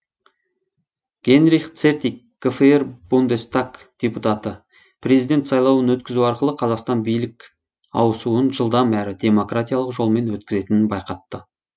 генрих цертик гфр бундестаг депутаты президент сайлауын өткізу арқылы қазақстан билік ауысуын жылдам әрі демократиялық жолмен өткізетінін байқатты